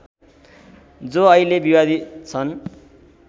जो अहिले विवादित छन्